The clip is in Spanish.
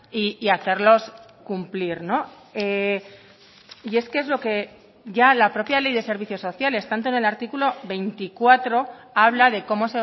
y hacerlos cumplir y es que es lo que ya la propia ley de servicios sociales tanto en el artículo veinticuatro habla de cómo